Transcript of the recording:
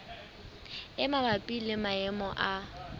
e mabapi le maemo a